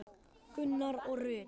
Gunnar og Rut.